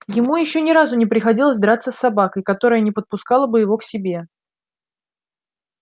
ему ещё ни разу не приходилось драться с собакой которая не подпускала бы его к себе